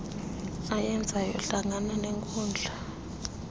ayenzayo hlangana nenkundla